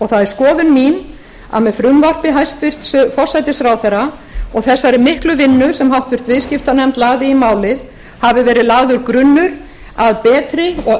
það er skoðun mín að með frumvarpi hæstvirts forsætisráðherra og þessari miklu vinnu sem háttvirtur viðskiptanefnd lagði í málið hafi verið lagður grunnur að betri og